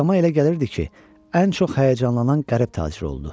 Adama elə gəlirdi ki, ən çox həyəcanlanan qərib tacir oldu.